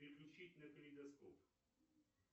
переключить на калейдоскоп